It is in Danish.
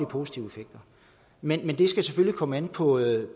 positive effekter men det skal selvfølgelig komme an på det